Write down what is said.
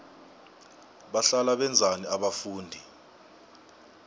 bahlala benzani abafundi